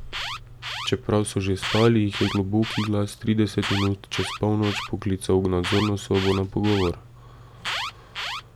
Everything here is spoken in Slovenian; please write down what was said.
Čeprav so že spali, jih je globoki glas trideset minut čez polnoč poklical v nadzorno sobo na pogovor.